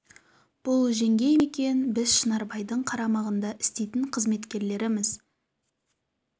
бұл жеңгей ме екен біз шынарбайдың қарамағында істейтін қызметкерлеріміз